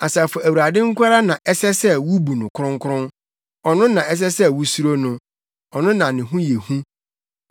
Asafo Awurade nko ara na ɛsɛ sɛ wubu no ɔkronkron, ɔno na ɛsɛ sɛ wusuro no, ɔno na ne ho yɛ hu,